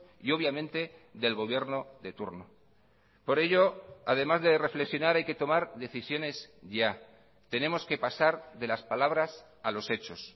y obviamente del gobierno de turno por ello además de reflexionar hay que tomar decisiones ya tenemos que pasar de las palabras a los hechos